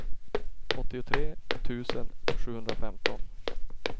åttiotre tusen sjuhundrafemton